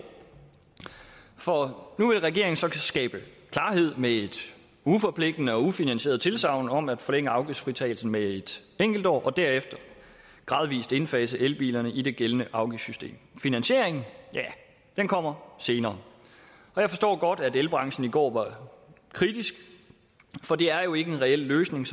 for nu vil regeringen så skabe klarhed med et uforpligtende og ufinansieret tilsagn om at forlænge afgiftsfritagelsen med et enkelt år og derefter gradvis indfase elbilerne i det gældende afgiftssystem finansieringen ja den kommer senere jeg forstår godt at elbranchen i går var kritisk for det er jo ikke en reel løsning